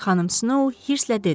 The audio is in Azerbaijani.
Xanım Snow hırslə dedi: